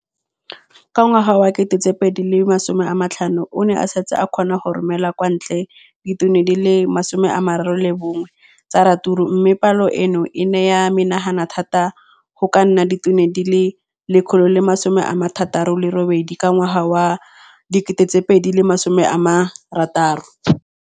Ka ngwaga wa 2015, o ne a setse a kgona go romela kwa ntle ditone di le 31 tsa ratsuru mme palo eno e ne ya menagana thata go ka nna ditone di le 168 ka ngwaga wa 2016.